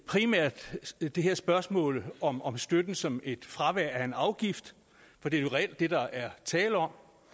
primært det her spørgsmål om om støtte som et fravær af en afgift for det er reelt det der er tale om